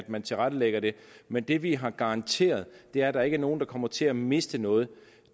man tilrettelægger det men det vi har garanteret er at der ikke er nogen der kommer til at miste noget